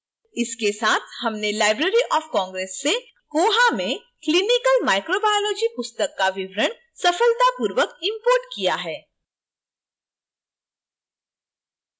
इसके साथ हमने library of congress से koha में clinical microbiology पुस्तक का विवरण सफलतापूर्वक imported किया है